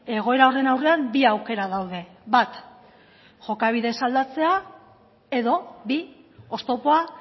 egoera horren aurrean bi aukera daude bat jokabidez aldatzea edo bi oztopoa